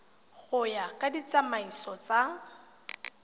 go ya ka ditsamaiso tsa